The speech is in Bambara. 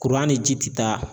Kuran ni ji ti taa.